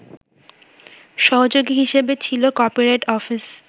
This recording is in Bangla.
সহযোগী হিসেবে ছিল কপিরাইট অফিস